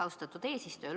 Austatud eesistuja!